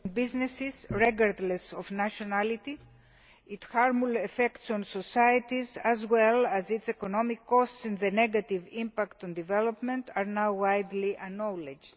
businesses, regardless of nationality, its harmful effects on societies as well as its economic costs and the negative impact on development are now widely acknowledged.